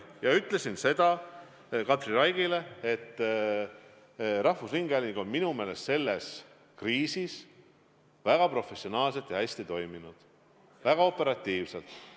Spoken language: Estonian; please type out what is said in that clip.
Ma ütlesin Katri Raigile, et rahvusringhääling on minu meelest selles kriisis väga professionaalselt ja hästi tegutsenud, väga operatiivselt.